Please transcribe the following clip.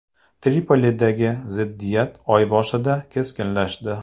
Tripolidagi ziddiyat oy boshida keskinlashdi.